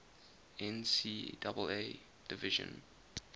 ncaa division